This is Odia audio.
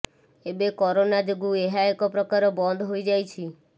ଏବେ କରୋନା ଯୋଗୁଁ ଏହା ଏକ ପ୍ରକାର ବନ୍ଦହୋଇ ଯାଇଛି